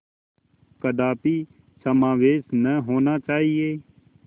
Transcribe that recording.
कदापि समावेश न होना चाहिए